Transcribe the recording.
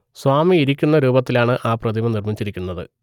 സ്വാമി ഇരിക്കുന്ന രൂപത്തിൽ ആണ് ആ പ്രതിമ നിർമ്മിച്ചിരിക്കുന്നത്